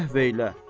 Əhv elə.